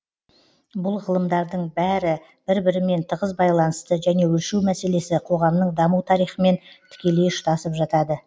бұл ғылымдардың бәрі бір бірімен тығыз байланысты және өлшеу мәселесі коғамның даму тарихымен тікелей ұштасып жатады